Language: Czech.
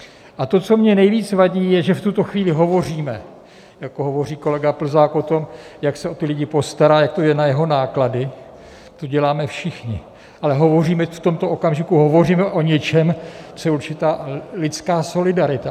A to, co mně nejvíc vadí, je, že v tuto chvíli hovoříme, jak hovoří kolega Plzák o tom, jak se o ty lidi postará, jak to je na jeho náklady - to děláme všichni - ale hovoříme, v tomto okamžiku hovoříme o něčem, co je určitá lidská solidarita.